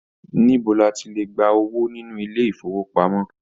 Níbo ní à ti le gbà owó nínú ilé ifowopamọ?